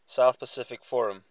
south pacific forum